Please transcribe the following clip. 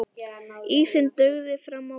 Ísinn dugði fram á vorið.